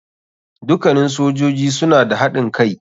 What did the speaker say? Dukannin sojoji suna da haɗin kai.